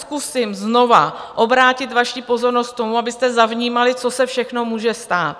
Zkusím znovu obrátit vaši pozornost k tomu, abyste zavnímali, co se všechno může stát.